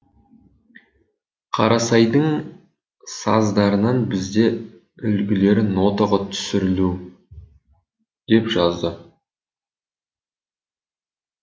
қарасайдың саздарынан бізде үлгілері нотаға түсірілу деп жазады